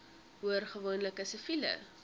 hoor gewoonlik siviele